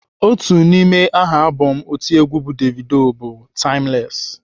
Otu n'ime aha abọm otiegwu bụ Davido bụ "Timeless."